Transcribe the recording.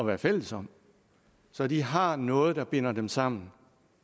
være fælles om så de har noget der binder dem sammen